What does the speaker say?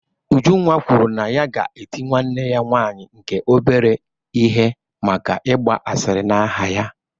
Ujunwa kwuru na ya ga-eti nwanne ya nwanyị nke obere ihe maka ịgba asịrị na aha ya